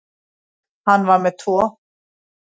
Hann var með tvo.